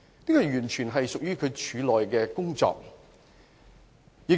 這完全屬於廉署的內部事宜。